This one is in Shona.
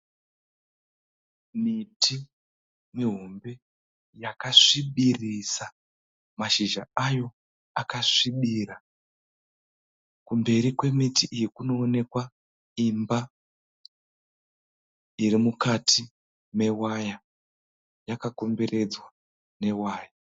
Miti mihombe yakasvibirisa. Mashizha ayo akasvibira. Kumberi kwemiti iyi kunoonekwa imba iri mukati mewaya. Yakakomberedzwa newaya.